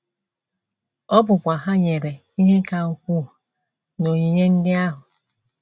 Ọ bụkwa Ha nyere ihe ka ukwuu n’onyinye ndị ahụ.